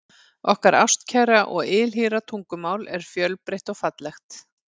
Okkar ástkæra og ylhýra tungumál er fjölbreytt og fallegt.